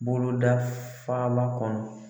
Boloda faaba kɔnɔ.